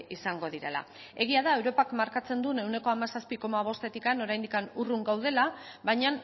izango direla egia da europak markatzen duen ehuneko hamazazpibostetik oraindik urrun gaudela baina